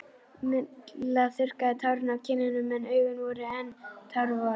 Milla þurrkaði tárin af kinnunum en augun voru enn tárvot.